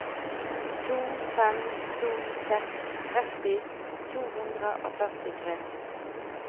to fem to seks tretti to hundre og førtitre